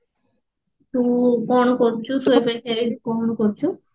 ତୁ କଣ କରୁଛୁ ପାଖରେ କଣ କରୁଛୁ